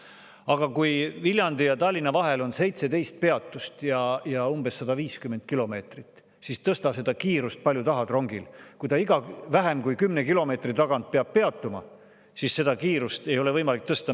Aga kui Viljandi ja Tallinna vahel on 17 peatust ja umbes 150 kilomeetrit, siis tõsta seda rongi kiirust palju tahad, kui ta iga vähem kui 10 kilomeetri tagant peab peatuma, siis seda kiirust ei ole võimalik tõsta.